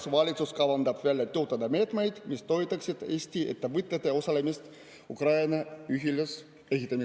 … kas valitsus kavandab välja töötada meetmeid, mis toetaksid Eesti ettevõtete osalemist Ukraina ülesehitamises?